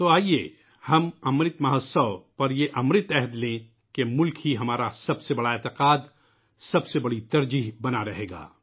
تو آیئے ہم '' امرت مہوتسو '' پر یہ امرت عہد کریں کہ ملک ہی ہمارا سب سے بڑا عقیدہ اور سب سے بڑی ترجیح بنا رہے گا